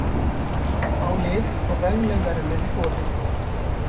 Á lið og vegleg verðlaun í boði.